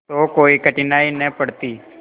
तो कोई कठिनाई न पड़ती